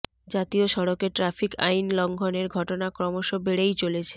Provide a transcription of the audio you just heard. জাতীয় সড়কে ট্রাফিক আইন লঙ্ঘনের ঘটনা ক্রমশ বেড়েই চলেছে